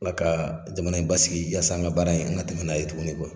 Ala kaa jamana in basigi yaasa an ŋa baara in an ŋa tɛmɛ n'a ye tuguni .